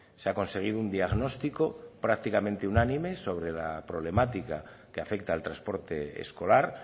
se ha conseguido un diagnóstico prácticamente unánime sobre la problemática que afecta al transporte escolar